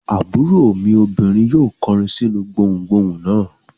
Àbúrò mi obìnrin yóò kọrin sínú gbohùngbohùn náà.